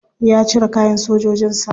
Ya cire kayan sojojin sa.